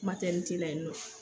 Matɛrnite la yen nɔ.